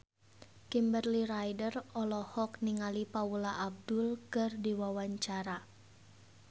Kimberly Ryder olohok ningali Paula Abdul keur diwawancara